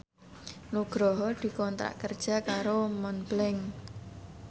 Nugroho dikontrak kerja karo Montblanc